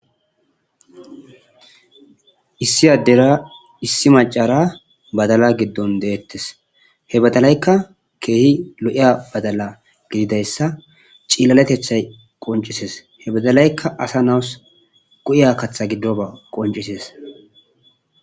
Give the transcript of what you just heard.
Issi addera issi macara badala giddon de'ettes he badalaykka keehi lo'iya badala gididayssa cililaletethay qonccisees he badalaykka asa na'aws go'iya kaththa giddoba qonccisees.